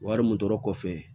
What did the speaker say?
Wari mun tora kɔfɛ